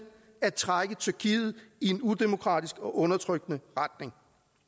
at trække tyrkiet i en udemokratisk og undertrykkende retning